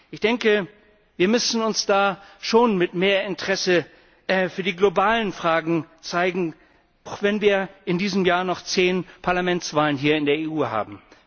Ich denke, wir müssen da schon mehr Interesse für die globalen Fragen zeigen, auch wenn wir in diesem Jahr noch 10 Parlamentswahlen hier in der EU haben.